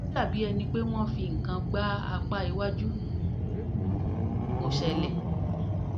ó dàbí ẹni pé wọ́n fi nǹkan fi nǹkan gbá apá iwájú (kò ṣẹ̀lẹ̀)